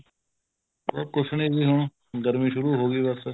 ਕੁੱਝ ਨੀ ਜੀ ਹੁਣ ਗਰਮੀ ਸ਼ੁਰੂ ਹੋਗੀ ਬੱਸ